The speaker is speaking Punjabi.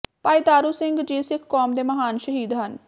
ਭਾਈ ਤਾਰੂ ਸਿੰਘ ਜੀ ਸਿੱਖ ਕੌਮ ਦੇ ਮਹਾਨ ਸ਼ਹੀਦ ਹਨ